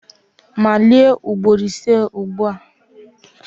Malie ugboro iri ise ugbu a!